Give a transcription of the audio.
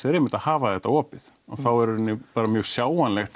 er einmitt að hafa þetta opið og þá er í rauninni bara mjög sjáanlegt